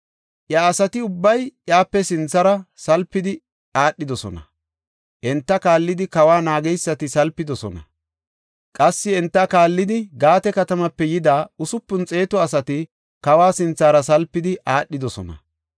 Iya asati ubbay iyape sinthara salpidi aadhidosona; enta kaallidi kawa naageysati salpidosona. Qassi enta kaallidi Gaate katamaape yida usupun xeetu asati, kawa sinthara salpidi aadhidosona.